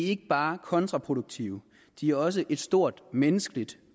ikke bare kontraproduktive de er også et stort menneskeligt